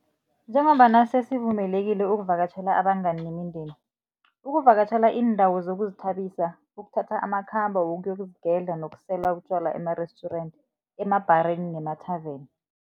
Njengombana sesivumelekile ukuvakatjhela abangani nemindeni, ukuvakatjhela iindawo zokuzithabisa, ukuthatha amakhambo wokuyozigedla nokusela utjwala emarestjurenti, emabhareni nemathaveni.